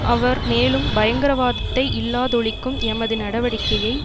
அவர் மேலும் பயங்கரவாதத்தை இல்லாதொழிக்கும் எமது நடவடிக்கையை